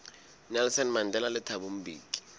nelson mandela le thabo mbeki